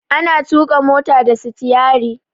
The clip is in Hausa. Ana tuƙa mota da stiyari.